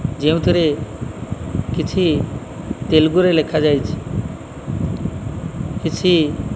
ଯେଉଁଥିରେ କିଛି ତେଲୁଗୁରେ ଲେଖାଯାଇଛି କିଛି --